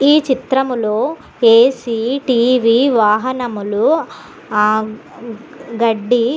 ఈ చిత్రం లో ఎ సి టి వి వాహనములు ఆఆ గడ్డి --